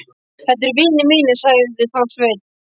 Þetta eru vinir mínir, sagði þá Sveinn.